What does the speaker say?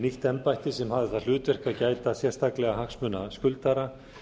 nýtt embætti sem hafði það hlutverk að gæta sérstaklega hagsmuna skuldara